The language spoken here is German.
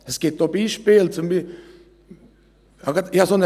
Es gibt auch Beispiele: